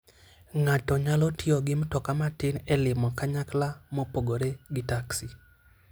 Ng'ato nyalo tiyo gi mtoka matin e limo kanyakla mopogore gi taksi.